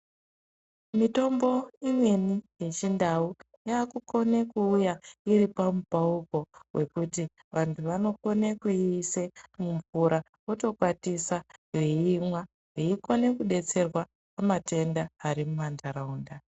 Mitombo imweni yechindau yaakukona kuuya iri pamupauko wekuti vantu vanokona kuiise mumvura votokwatisa veimwa. Veikona kudetserwa mumatenda ari mumanharaunda.